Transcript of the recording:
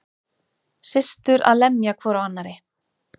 Systur að lemja hvor á annarri